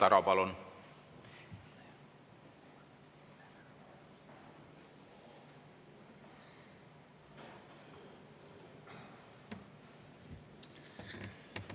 Igor Taro, palun!